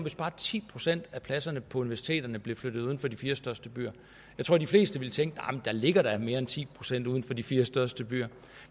bare ti procent af pladserne på universiteterne blev flyttet uden for de fire største byer jeg tror de fleste ville tænke arh der ligger da mere end ti procent uden for de fire største byer